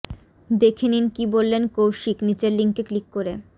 দেখে নিন কী বললেন কৌশিক নীচের লিঙ্কে ক্লিক করে